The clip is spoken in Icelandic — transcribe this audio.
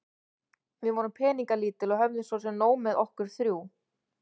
Við vorum peningalítil og höfðum svo sem nóg með okkur þrjú.